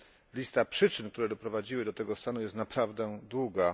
Lista przyczyn, które doprowadziły do tego stanu jest naprawdę długa.